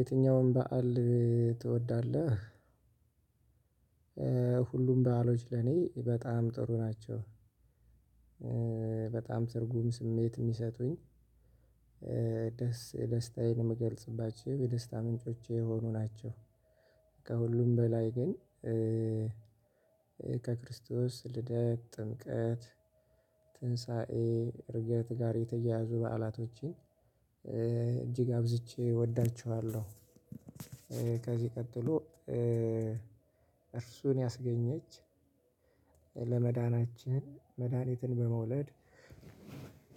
የትኛውም በዓል ትወዳለህ? ሁሉም በዓሎች ለኔ በጣም ጥሩ ናቸው። በጣም ትርጉም ስሜት የሚሰጡኝ ደስ ደስታዬን የምገልጽባቸው የደስታ ምንጮቼ የሆኑ ናቸው። ከሁሉም በላይ ግን ከክርስቶስ ልደቅ ጥምቀት ትንሳኤ እርገት ጋር የተያያዙ በዓላቶችን እጅግ አብዝቼ እወዳችኋለሁ። ከዚህ ቀጥሎ እርሱን ያስገኘች ለመዳናችን መድሃኒትን በመውለድ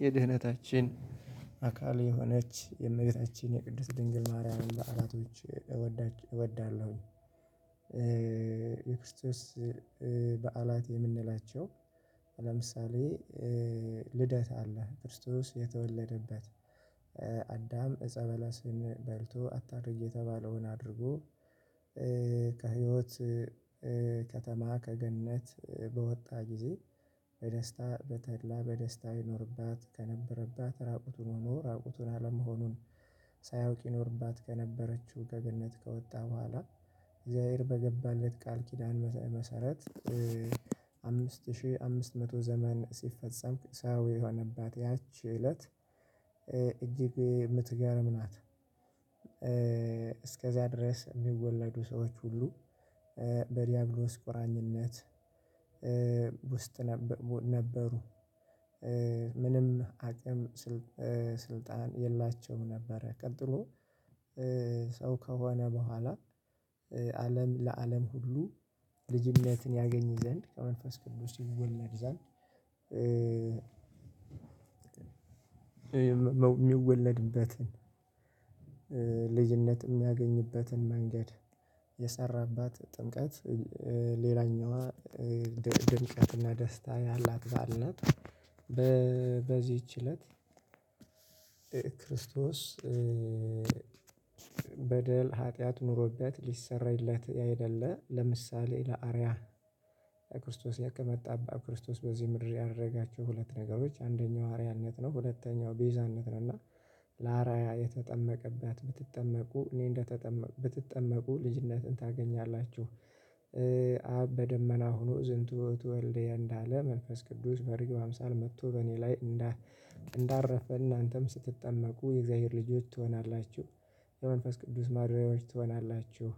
የድህነታችን አካል የሆነች የእመቤታችን የቅስት ድንግል ማርያም በዓላቶች እወዳለሁኝ። የክርስቶስ በዓላት የምንላቸው ለምሳሌ ልደት አለ ክርስቶስ የተወለደበት አዳም እፀ በለስን በልቶ አታድርግ የተባለውን አድርጎ ከህይወት ከተማ ከገነት በወጣ ጊዜ በደስታ በተድላ በደስታ ይኖርባት ከነበረባት ራቁቱን መኖር ራቁቱን አለመሆኑን ሳያውቅ ይኖርባት ከነበረችው ከገነት ከወጣ በኋላ እግዚአብሔር በገባለት ቃል ኪዳን መሰረት አምስት ሺህ አምስት መቶ ዘመን ሲፈጸም ሰው የሆነባት ያቺ እለት እጅግ የምትገርም ናት። እስከዛ ድረስ የሚወለዱ ሰዎች ሁሉ በዲያብሎስ ቁራኝነት ውስጥ ነበሩ። ምንም አቅም ስልጣን የላቸውም ነበር ቀጥሎ ሰው ከሆነ በኋላ አለም ለአለም ሁሉ ልጅነትን ያገኝ ዘንድ ከመንፈስ ቅዱስ ይሰረጻል። የሚወለድበትን ልጅነት የሚያገኝበትን መንገድ የሰራባት ጥምቀት ሌላኛዋ ድንቅና ደስታ ያላት በዓል ናት። በዚች እለት ክርስቶስ በደል ኃጢአት ኑሮት ሊሰራይለት አይደለ ለምሳሌ ለአርያ ክርስቶስ የተጠመቀባት ክርስቶስ በዚህ ምድር ያደረጋቸው ሁለት ነገሮች አንደኛው አርአያነት ነው ሁለተኛው ቤዛነት ነው። እና ለአርአያ የተጠመቀባት ብትጠመቁ እኔ እንደተጠመኩ ብትጠመኩ ልጅነትን ታገኛላችሁ። በደመና ሆኖ ዝንቱ ውእቱ ወልደየ እንዳለ መንፈስ ቅዱስ በርግብ አምሳል መጥቶ በእኔ ላይ እንዳረፈ እናንተም ስትጠመቁ የእግዚአብሔር ልጆች ትሆናላችሁ የመንፈስ ቅዱስ ማደሪያዎች ትሆናላችሁ።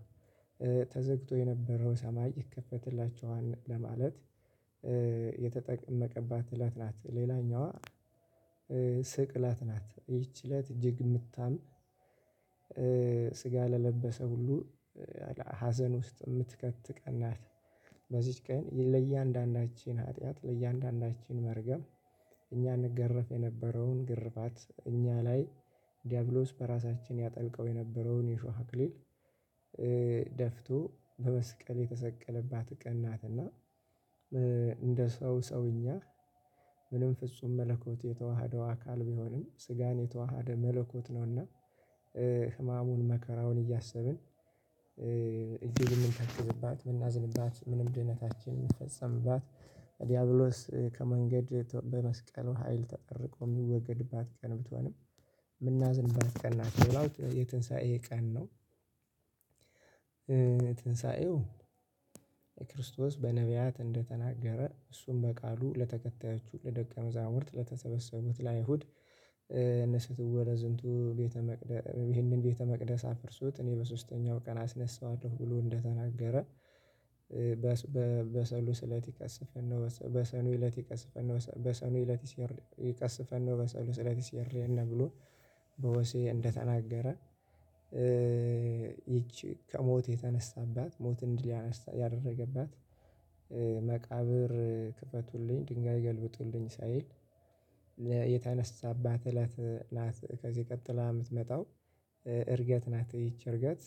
ተዘግቶ የነበረው ሰማይ ይከፈትላችኋል ለማለት የተጠመቀባት እለት ናት። ሌላኛዋ ስቅለት ናት ይቺ እለት እጅግ የምታም ስጋ ለለበሰ ሁሉ ሀዘን ውስጥ የምትከት ቀናት በዚህች ቀን ለእያንዳንዳችን ኃጢአት ለእያንዳንዳችን መርገም እኛ እንገረፍ የነበረውን ግርፋት እኛ ላይ ዲያብሎስ በራሳችን ያጠልቀው የነበረውን የሾህ አክሊል ደፍቶ በመስቀል የተሰቀለባት ቀን ናትና። እንደ ሰው ሰውኛ ምንም ፍጹም መለኮት የተዋሃደው አካል ቢሆንም ስጋን የተዋሃደ መለኮት ነውና ህማሙን መከራውን እያሰብን እዚህ ልንተክርብባት ምናዝንባት ምንም ድህነታችን የምትፈጽምባት ዲያብሎስ ከመንገድ በመስቀል ሀይል ተጠርቆ የሚወገድባት ቀን ብትሆንም የምናዝንባት ቀን ናት። ሌላው የትንሳኤ ቀን ነው። ትንሳኤው የክርስቶስ በነብያት እንደተናገረ እሱም በቃሉ ለተከታዮቹ ለደቀ መዛሙርት ለተሰበሰቡት ለአይሁድ እነሱ ይህን ቤተ መቅደስ ይህንን ቤተ መቅደስ አፍርሱት እኔ በሶስተኛው ቀን አስነሳዋለሁ ብሎ እንደተናገረ። በሰሉስ እለት ይከስፈን ነው በሰሉስ እለት ይከስፈን ነው በሰሉ ስለት ይከስፈን ነው በሰሉ ስለት ይከስፈን ነው በሰሉ ስለት ሲርየና ብሎ በወሴ እንደተናገረ። ይቺ ከሞት የተነሳባት ሞት እንዲል ያደረገባት መቃብር ክፈቱልኝ ድንጋይ ገልብጡልኝ ሳይል የተነሳባት እለት ናት። ከዚህ ቀጥላ የምትመጣው እርገት ናት። ይቺ እርገት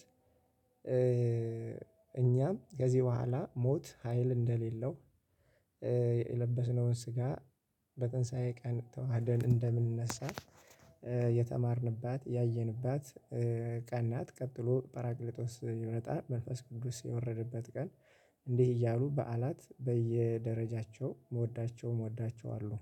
እኛም ከዚህ በኋላ ሞት ሀይል እንደሌለው የለበስነውን ስጋ በትንሳኤ ቀን ተዋህደን እንደምንነሳ የተማርንባት ያየንባት ቀን ናት። ቀጥሎ ጰራቅሊጦስ ሲመጣ መንፈስ ቅዱስ የወረደበት ቀን እንዲህ እያሉ በዓላት በየደረጃቸው እወዳቸዋለው